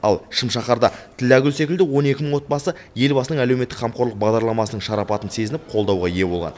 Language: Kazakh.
ал шым шаһарда тілләгүл секілді он екі мың отбасы елбасының әлеуметтік қамқорлық бағдарламасының шарапатын сезініп қолдауға ие болған